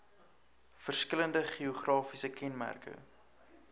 verskillende geografiese kenmerke